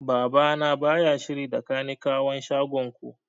Baba na baya shiri da kanikawan shagon ku